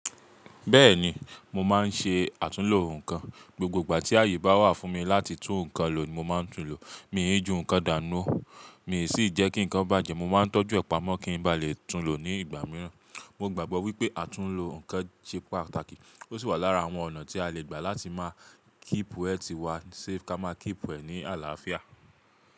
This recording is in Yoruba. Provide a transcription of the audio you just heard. Bẹ́ẹ̀ni mo máa ń ṣe àtúnlo nǹkan. Gbogbo ìgbà tí àyè bá wà fún mi láti tún nǹkan lò mo máa ń tún lò. Mi ò í ju nǹkan dànù ú, mi ò sì jẹ́ kí nǹkan bàjẹ́. Mo máa ń tọ́jú ẹ̀pamọ́ kí n ba lè tún lò ní ìgbà mìíràn. Mo gbàgbọ́ wípé àtúnlo nǹkan jẹ́ pàtàkì ó sì wà lára àwọn ọ̀nà tí a lè gbà láti máa keep health wá safe kí a máa keep e ní àlàáfíà.